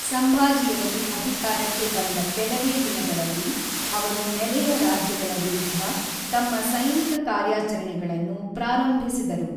ಸಂಭಾಜಿಯವರು ಅಧಿಕಾರಕ್ಕೆ ಬಂದ ಕೆಲವೇ ದಿನಗಳಲ್ಲಿ, ಅವರು ನೆರೆಯ ರಾಜ್ಯಗಳ ವಿರುದ್ಧ ತಮ್ಮ ಸೈನಿಕ ಕಾರ್ಯಾಚರಣೆಗಳನ್ನು ಪ್ರಾರಂಭಿಸಿದರು.